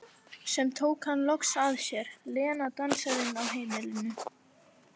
Sem tók hann loks að sér, Lena dansarinn á heimilinu.